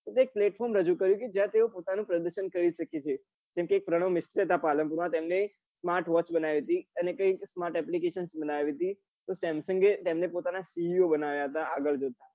એ એક platform રજુ કયું કે જ્યાં તેઓ પોતાનું પ્રદર્શન કરી સકે છે કે જેમ કે એક પ્રણવ મિસ્ત્રી હતા પાલનપુર માં તેમને એક smart watch બનાવી હતી અને કઈક smart application બનાવી હતી samsung એ તેમને પોતાના co બનાવ્યા હતા આગળ જતા